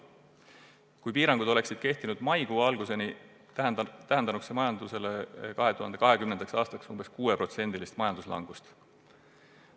Kui piirangud oleksid kehtinud maikuu alguseni, tähendanuks see majandusele 2020. aastal umbes 6% majanduslangust.